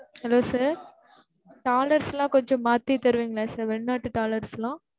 hello sir dollars லா கொஞ்சம் மாத்தி தருவிங்களா sir வெளி நாட்டு dollars லா?